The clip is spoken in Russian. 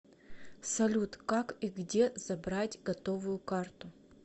салют как и где забрать готовую карту